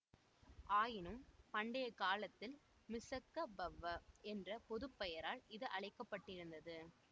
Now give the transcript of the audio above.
ஆயினும் பண்டைய காலத்தில் மிஸ்ஸக்க பவ்வ என்ற பொதுப்பெயரால் இது அழைக்கப்பட்டிருந்தது